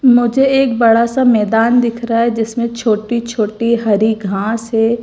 मुझे एक बड़ा सा मैदान दिख रहा है जिसमें छोटी छोटी हरी घास है।